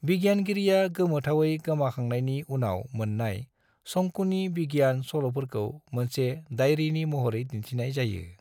बिगियानगिरिया गोमोथावै गोमाखांनायनि उनाव मोन्नाय शोंकूनि बिगियान सल'फोरखौ मोनसे डायरीनि महरै दिन्थिनाय जायो।